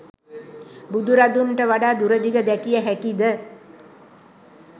බුදුරදුන්ට වඩා දුරදිග දැකිය හැකි ද?